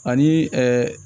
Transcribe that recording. Ani